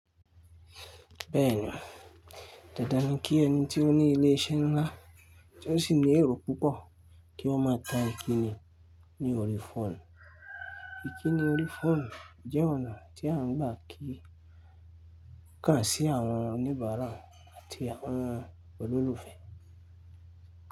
Bẹ́ẹ̀ni, dandan nì kí ẹni tí ó ní ilé iṣẹ́ ńlá tí ó sì ní èrò púpọ̀ kí wọ́n máa tan ìkíni ní ori phone. Ìkíni ori phone jẹ́ ọ̀nà tí a ń gbà kí, kàn sí àwọn oníbàárà àti àwọn olólùfẹ́.